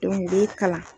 u b'i kalan